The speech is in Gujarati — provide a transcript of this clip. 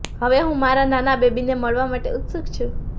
હવે હું મારા નાના બેબીને મળવા માટે ઉત્સુક છું